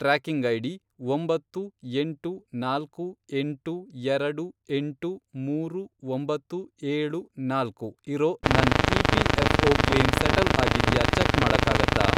Tracking ID, ಒಂಬತ್ತು, ಎಂಟು, ನಾಲ್ಕು, ಎಂಟು, ಎರಡು, ಎಂಟು, ಮೂರು, ಒಂಬತ್ತು, ಏಳು, ನಾಲ್ಕು, ಇರೋ ನನ್ ಇ.ಪಿ.ಎಫ಼್.ಒ. ಕ್ಲೇಮ್ ಸೆಟಲ್ ಅಗಿದ್ಯಾ ಚೆಕ್ ಮಾಡಕ್ಕಾಗತ್ತಾ?